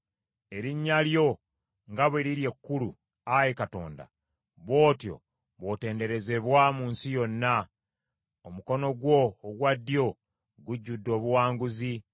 Erinnya lyo nga bwe liri ekkulu, Ayi Katonda, bw’otyo bw’otenderezebwa mu nsi yonna. Omukono gwo ogwa ddyo gujjudde obuwanguzi.